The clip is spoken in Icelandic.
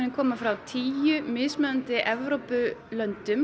koma frá tíu mismunandi Evrópulöndum